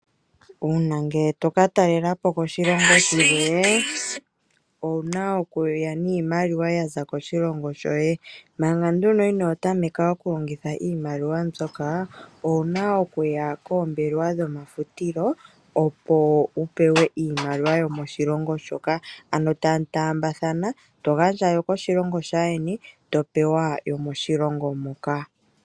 Uuna ngele tokatalela po koshilongo shimwe owuna okuya niimaliwa yaza koshilongo shoye. Manga nduno inotameka okulongitha iimaliwa mbyoka owuna okuya koombelewa dhomafutilo opo wupewe iimaliwa yomoshilongo shoka, ano tamutaambathana togandja yokoshilongo shaayeni topewa yomoshilongo moka.